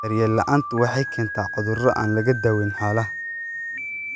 Daryeel la'aantu waxay keentaa cuduro aan laga dawayn xoolaha.